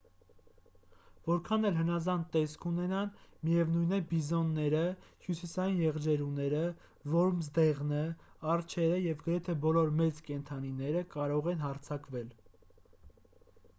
որքան էլ հնազանդ տեսք ունենան միևնույն է բիզոնները հյուսիսային եղջերուները որմզդեղնը արջերը և գրեթե բոլոր մեծ կենդանիները կարող են հարձակվել